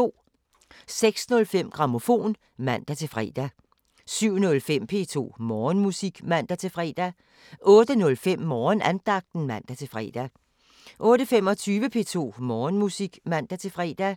06:05: Grammofon (man-fre) 07:05: P2 Morgenmusik (man-fre) 08:05: Morgenandagten (man-fre) 08:25: P2 Morgenmusik (man-fre)